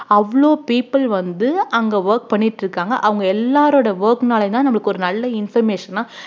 அவ்ளோ people வந்து அங்க work பண்ணிட்டு இருக்காங்க அவங்க எல்லாரோட work னாலயும்தான் நம்மளுக்கு ஒரு நல்ல information ஆ